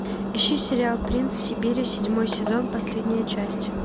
ищи сериал принц сибири седьмой сезон последняя часть